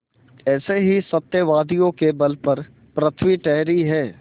ऐसे ही सत्यवादियों के बल पर पृथ्वी ठहरी है